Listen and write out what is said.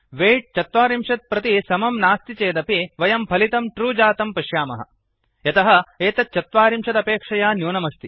weight ४० प्रति समं नास्ति चेदपि वयं फलितं ट्रू जातं पश्याम यतः एतत् चत्वारिंशदपेक्षया न्यूनमस्ति